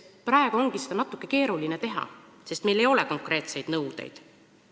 Praegu ongi natuke keeruline seda teha, sest meil ei ole konkreetseid nõudeid.